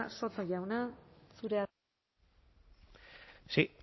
soto jauna zurea da hitza sí